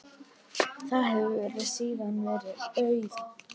Þar hefur síðan verið auðn.